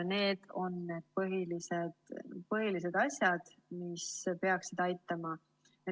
Need on põhilised asjad, mis peaksid aitama.